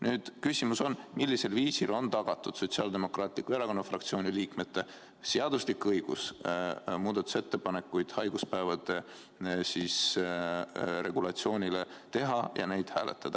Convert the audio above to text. Nüüd on küsimus, millisel viisil on tagatud Sotsiaaldemokraatliku Erakonna fraktsiooni liikmete seaduslik õigus teha muudatusettepanekuid haiguspäevade regulatsiooni kohta ja neid hääletada.